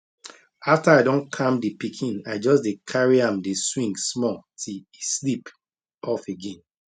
after i don calm the pikin i just dey carry am dey swing small till e sleep off again